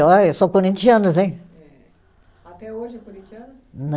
Olha, eu sou corinthianos, hein? Até hoje é corinthiana?